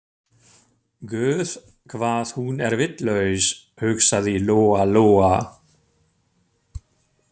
Guð hvað hún er vitlaus, hugsaði Lóa-Lóa.